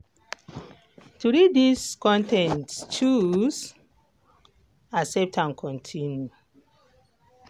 to read dis con ten t choose 'accept and continue'.